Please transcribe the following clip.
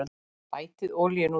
Bætið olíunni út í.